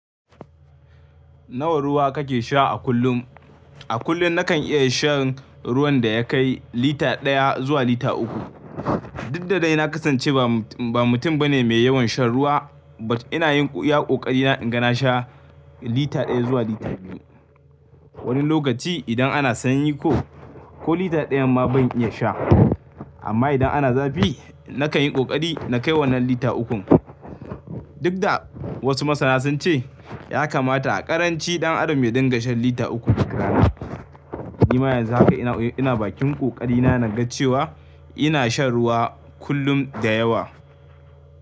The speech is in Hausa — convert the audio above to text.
Nawa ruwa kake sha a kullum? A kullum nakan iya shan ruwan da ya kai lita ɗaya zuwa lita uku. Duk da dai na kasance ba mutum bane mai yawan shan ruwa but ina yin iya ƙoƙari na inga na sha lita ɗaya zuwa lita biyu. Wani lokaci idan ana sanyi ko, ko lita ɗaya ma ban iya sha. Amma idan ana zafi, na kan yi ƙoƙari na kai wannan lita ukun. Duk da wasu masana sun ce ya kamata a ƙaranci ɗan adam ya dinga shan lita uku duk rana. Ni ma yanzu haka ina bakin ƙoƙari na naga cewa ina shan ruwa kullum da yawa.